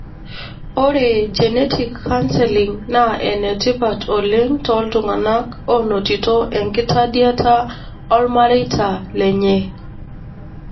Ore Genetic counseling na enetipat oleng toltungana onotito enkitadiata olmareita lenye.